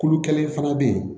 Kulu kelen fana bɛ yen